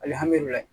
Alihamudulila